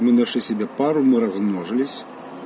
мы нашли себе пару мы размножились